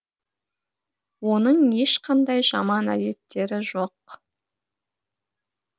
оның ешқандай жаман әдеттері жоқ